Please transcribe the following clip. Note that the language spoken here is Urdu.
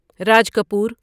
راج کپور